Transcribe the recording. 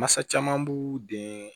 Mansa caman b'u den